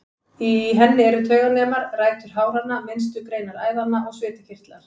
Í henni eru tauganemar, rætur háranna, minnstu greinar æðanna og svitakirtlar.